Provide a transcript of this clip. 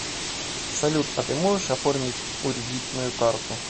салют а ты можешь оформить уредитную карту